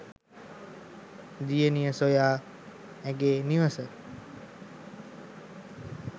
දියණිය සොයා ඇගේ නිවස